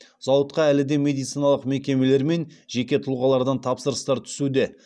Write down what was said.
зауытқа әлі де медициналық мекемелер мен жеке тұлғалардан тапсырыстар түсуде